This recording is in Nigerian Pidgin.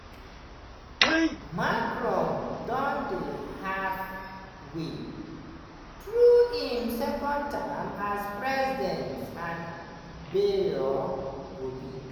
macron don dey half-way through im second term as president and bayrou go be